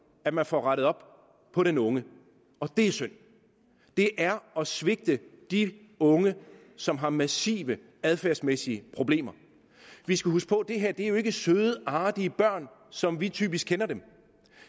at man får rettet op på den unge det er synd det er at svigte de unge som har massive adfærdsmæssige problemer vi skal huske på at det her jo ikke er søde artige børn som vi typisk kender dem